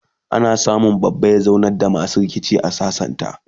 a kan samu babba ya zaunar da masu rikici ya sasantasu